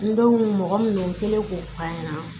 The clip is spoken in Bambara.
N denw mɔgɔ minnu kɛlen k'o fɔ a ɲɛna